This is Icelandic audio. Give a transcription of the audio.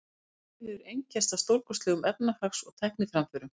Þessi tími hefur einkennst af stórkostlegum efnahags- og tækniframförum.